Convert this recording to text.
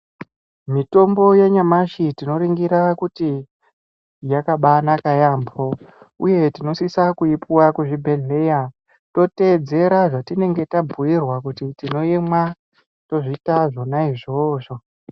Mitombo yanyamashi tinoringira kuti yakabanaka yaambo uye tinosisa kuipuwa kuzvibhedhleya totedzera zvatinenge tabhiirwa kuzi tinoimwa tozviita zvona izvozvo.